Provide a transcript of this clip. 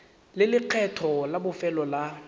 le lekgetho la bofelo la